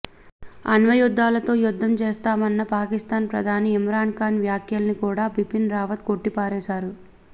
అణ్వాయుద్ధాలతో యుద్ధం చేస్తామన్న పాకిస్థాన్ ప్రధాని ఇమ్రాన్ ఖాన్ వ్యాఖ్యల్ని కూడా బిపిన్ రావత్ కొట్టిపారేశారు